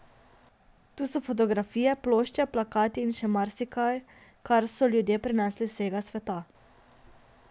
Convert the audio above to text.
Tu so fotografije, plošče, plakati in še marsikaj, kar so prinesli ljudje z vsega sveta.